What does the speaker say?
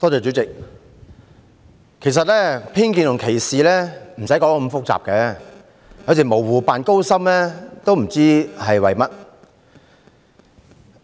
主席，其實偏見及歧視無需講得太複雜，有時候模糊不清卻故作高深，也不明白是為甚麼。